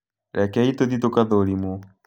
Rekei tũthiĩ tũgathũrimwo